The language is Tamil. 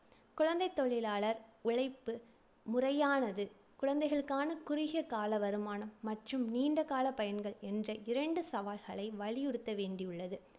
குழந்தைத் தொழிலாளர் உழைப்பு முறையானது குழந்தைகளுக்கான குறுகிய கால வருமானம் மற்றும் நீண்ட கால பயன்கள் என்ற இரண்டு சவால்களை வலியுறுத்த வேண்டியுள்ளது.